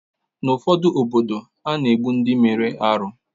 N’obodo ụfọdụ, a na-egbu ndị mere arụ